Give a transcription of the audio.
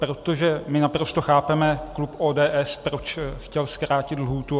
Protože my naprosto chápeme klub ODS, proč chtěl zkrátit lhůtu.